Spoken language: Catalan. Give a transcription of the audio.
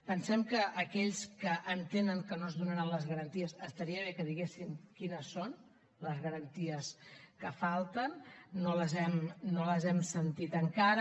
pensem que aquells que entenen que no es donaran les garanties estaria bé que diguessin quines són les garanties que falten no les hem sentit encara